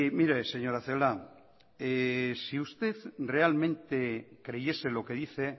mire señora celaá si usted realmente creyese lo que dice